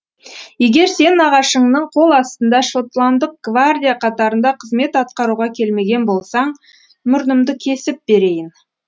егер сен нағашыңның қол астында шотландық гвардия қатарында қызмет атқаруға келмеген болсаң мұрнымды кесіп берейін